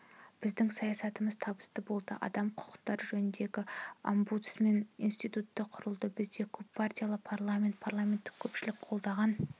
біздің саясатымыз табысты болды адам құқықтары жөніндегі омбудсмен институты құрылды бізде көппартиялы парламент парламенттік көпшілік қолдаған